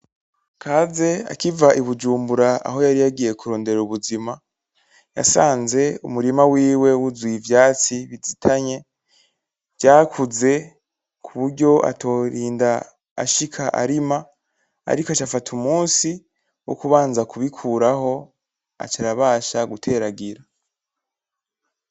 Kaze akiva i Bujumbura aho yari yagiye kurondera ubuzima, yasanze umurima wiwe wuzuye ivyatsi bizitanye vyakuze kuburyo atorinda ashika arima, ariko aca afata umunsi wo kubanza kubikuraho aca arabasha guteragira.